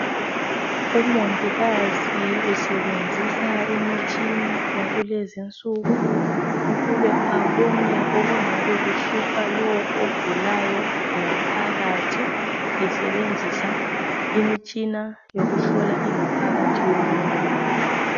Umongikazi usebenzisa imitshina yakulezi insuku ukuba abone ukungabe kumhlupha ogulayo ngaphakathi esebenzisa imitshina yokuhlola ingaphakathi yomuntu